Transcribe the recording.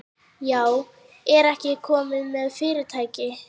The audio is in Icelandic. Já, ertu ekki kominn með fyrirtæki?